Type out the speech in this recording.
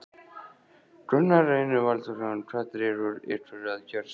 Gunnar Reynir Valþórsson: Hvað dregur ykkur að kjörstað?